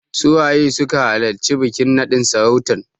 Su waye suka halarci bikin naɗin sarautan?